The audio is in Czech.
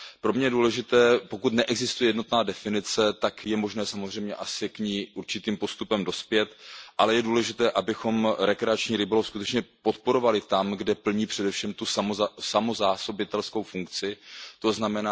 Pro mne je důležité, pokud neexistuje jednotná definice, tak je možné samozřejmě k ní určitým postupem dospět, ale je důležité, abychom rekreační rybolov skutečně podporovali tam, kde plní především tu samozásobitelskou funkci, tzn.